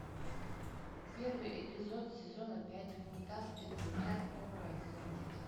первый эпизод сезона пять мульта спецотряд кобра одиннадцать